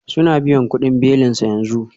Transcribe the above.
Suna biyan kudin belinsa yanzu